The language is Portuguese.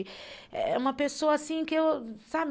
É uma pessoa assim que eu, sabe?